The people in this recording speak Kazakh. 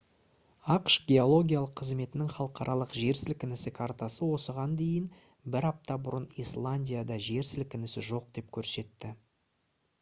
ақш геологиялық қызметінің халықаралық жер сілкінісі картасы осыған дейін бір апта бұрын исландияда жер сілкінісі жоқ деп көрсетті